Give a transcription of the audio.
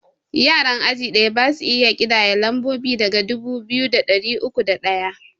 Yaran aji ɗaya basu iya ƙidaya lambobi daga dubu biyu da ɗari uku da ɗaya